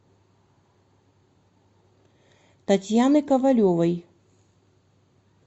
татьяны ковалевой